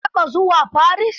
Ka taɓa zuwa Paris?